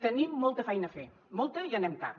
tenim molta feina a fer molta i anem tard